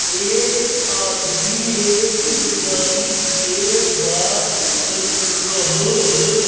एक आदमी एक लुगाई से बात कर रहा है।